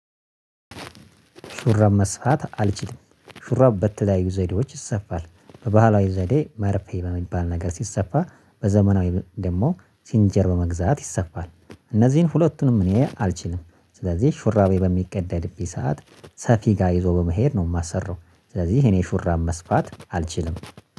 ሹራብ መስፋት አልችልም ሹራብ በተለያዩ ዘዴዎች ይሰፋል በባህላዊ ዘዴ መርፌ በሚባል ነገር ሲሰፋ በዘመናዊ ደግሞ ሲንጀር በመግዛት ይሰፋል እነዚህን ሁለቱንም እኔ አልችልም ስለዚህ ሹራቤ በሚቀደድብኝ ሰዓት ሰፊ ጋር ይዞ በመሄድ ነው የማሠራው። ስለዚህ እኔ ሹራብ መስፋት አልችልም